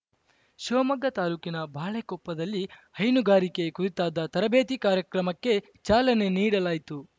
ಶಿವಮೊಗ್ಗ ತಾಲೂಕಿನ ಬಾಳೆಕೊಪ್ಪದಲ್ಲಿ ಹೈನುಗಾರಿಕೆ ಕುರಿತಾದ ತರಬೇತಿ ಕಾರ್ಯಕ್ರಮಕ್ಕೆ ಚಾಲನೆ ನೀಡಲಾಯಿತು